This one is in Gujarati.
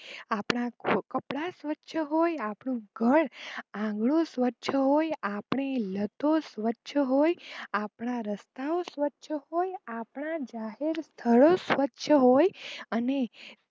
આપણાં કપડાં સ્વચ્છ હોય આપણું ઘર આંગણું સ્વચ્છ હોય આપણી લતો સ્વચ્છ હોય. આપણાં રસ્તા ઓ સ્વચ્છ હોય આપણા જાહેર સ્થાળો સ્વચ્છ હોય.